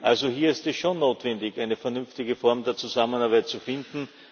Also hier ist es schon notwendig, eine vernünftige Form der Zusammenarbeit zu finden.